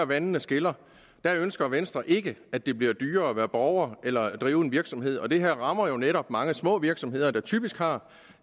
vandene skiller der ønsker venstre ikke at det bliver dyrere at være borger eller at drive en virksomhed det her rammer jo netop mange små virksomheder der typisk har